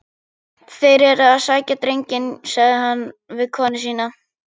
Þeir eru að sækja drenginn, sagði hann við konu sína.